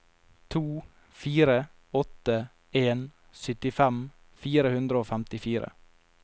to fire åtte en syttifem fire hundre og femtifire